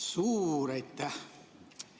Suur aitäh!